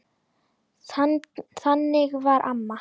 Þannig var amma.